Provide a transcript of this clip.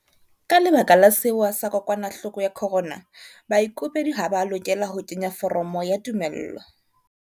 Ka lebaka la sewa sa kokwanahloko ya corona, baikopedi ha ba a lokela ho kenya foromo ya tumello.